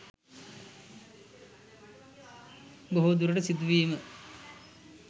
බොහෝ දුරට සිදුවීම